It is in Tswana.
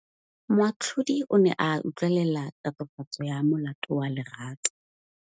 Moatlhodi o ne a utlwelela tatofatsô ya molato wa Lerato.